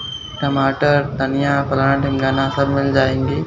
टमाटर धनिया सब मिल जाएंगे।